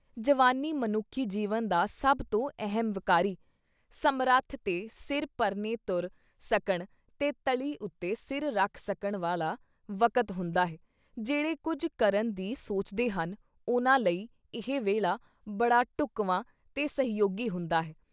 ਜਵਾਨੀ ਮਨੁੱਖੀ ਜੀਵਨ ਦਾ ਸਭ ਤੋਂ ਅਹਿਮ ਵਿਕਾਰੀ, ਸਮੱਰਥ ਤੇ ਸਿਰ ਪਰਨੇ ਤੁਰ ਸਕਣ ਤੇ ਤਲ਼ੀ ਉੱਤੇ ਸਿਰ ਰੱਖ ਸਕਣ ਵਾਲਾ ਵਕਤ ਹੁੰਦਾ ਹੈ, ਜਿਹੜੇ ਕੁਝ ਕਰਨ ਦੀ ਸੋਚਦੇ ਹਨ, ਉਨ੍ਹਾਂ ਲਈ ਇਹ ਵੇਲ਼ਾ ਬੜਾ ਢੁੱਕਵਾਂ ਤੇ ਸਹਿਯੋਗੀ ਹੁੰਦਾ ਹੈ।